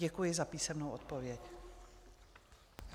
Děkuji za písemnou odpověď.